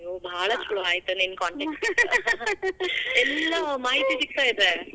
ಅಯ್ಯೋ ಬಾಳ್ ಛಲೋ ಆತ್ ನಿನ್ contact . ಎಲ್ಲಾ ಮಾಹಿತಿ ಸಿಗ್ತಾ ಇದೆ. .